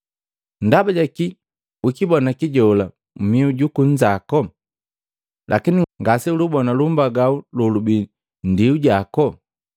“Ndaba jakii ukibona kijola mmihu juku nnzaku, lakini ngaseulibona lumbagau lolubii nndiu jaku?